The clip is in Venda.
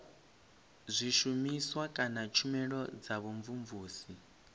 zwishumiswa kana tshumelo dza vhumvumvusi